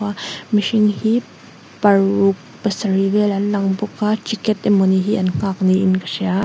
a mihring hi paruk pasarih vel an lang bawka ticket emawni hi an nghak in ka hria.